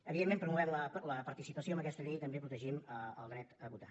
evidentment promovem la participació amb aquesta llei i també protegim el dret a votar